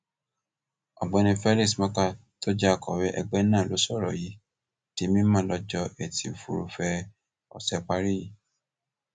ọgbẹni felix morka tó jẹ akọwé ẹgbẹ náà ló sọrọ yìí di mímọ lọjọ etí furuufee ọsẹ parí yìí